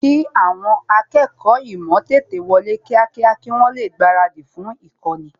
kì àwọn akẹ́kọ̀ọ́ ímò èkó tètè wọlé kíákíá kí wọ́n lè gbaradì fún īkóni